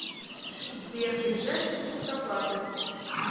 сбер ближайший пункт оплаты